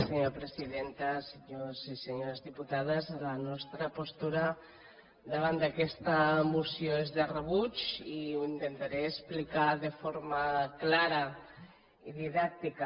senyors i senyores diputades la nostra postura davant d’aquesta moció és de rebuig i ho intentaré explicar de forma clara i didàctica